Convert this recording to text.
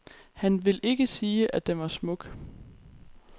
Han vil ikke sige, at den var smuk.